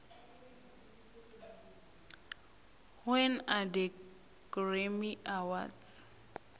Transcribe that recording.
when are the grammy awards